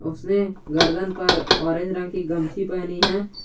उसने गर्दन पर ओरेंज रंग की गमछी पहनी है।